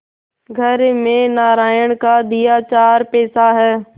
घर में नारायण का दिया चार पैसा है